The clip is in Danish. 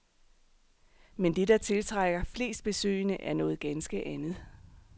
Men det, der tiltrækker flest besøgende, er noget ganske andet.